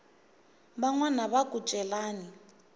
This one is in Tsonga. van wana va ku celani